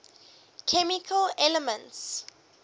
chemical elements